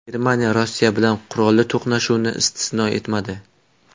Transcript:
Germaniya Rossiya bilan qurolli to‘qnashuvni istisno etmadi.